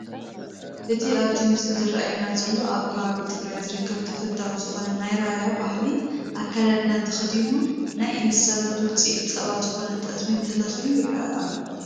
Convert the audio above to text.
እቲ ኣብቲ ምስሊ ዝራኣየና ዘሎ ኣብ ከባቢ ትግራይ ዝርከብ ተፈታዊ ዝኾነ ናይ ራያ ባህላዊ ኣከዳድና ተኸዲኑ ናይ እንስሳት ውፅኢት ፀባ ዝኾነ ጠስሚ ተለኺዩ ይረአ ኣሎ፡፡